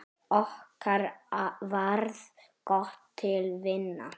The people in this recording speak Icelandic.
Okkur varð gott til vina.